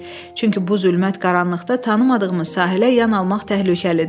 Çünki bu zülmət qaranlıqda tanımadığımız sahilə yan almaq təhlükəlidir.